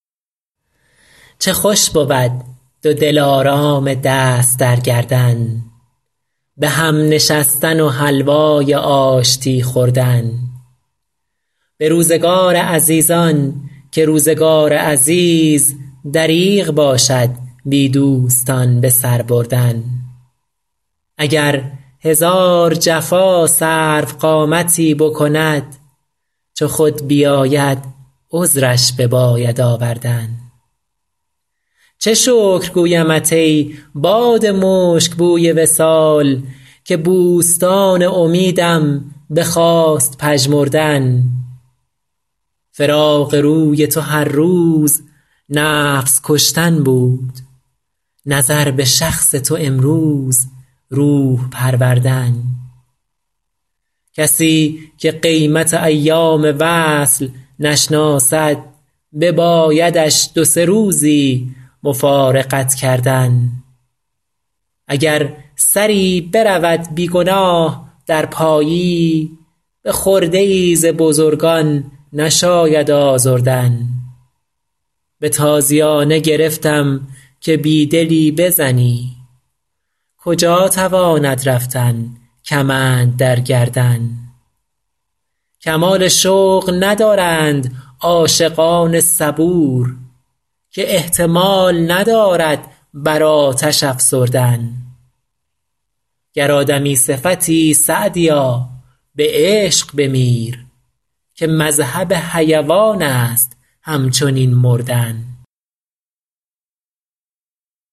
چه خوش بود دو دلارام دست در گردن به هم نشستن و حلوای آشتی خوردن به روزگار عزیزان که روزگار عزیز دریغ باشد بی دوستان به سر بردن اگر هزار جفا سروقامتی بکند چو خود بیاید عذرش بباید آوردن چه شکر گویمت ای باد مشک بوی وصال که بوستان امیدم بخواست پژمردن فراق روی تو هر روز نفس کشتن بود نظر به شخص تو امروز روح پروردن کسی که قیمت ایام وصل نشناسد ببایدش دو سه روزی مفارقت کردن اگر سری برود بی گناه در پایی به خرده ای ز بزرگان نشاید آزردن به تازیانه گرفتم که بی دلی بزنی کجا تواند رفتن کمند در گردن کمال شوق ندارند عاشقان صبور که احتمال ندارد بر آتش افسردن گر آدمی صفتی سعدیا به عشق بمیر که مذهب حیوان است همچنین مردن